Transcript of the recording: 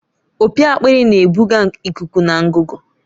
Opi akpịrị na-ebuga ikuku na ngụgụ.